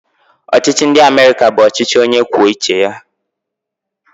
Ọchịchị ndị Amerịka bụ ọchịchị onyekwuouche ya